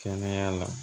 Kɛnɛya la